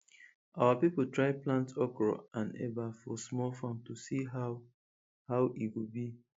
our people try plant okro and eba for small farm to see how how e go be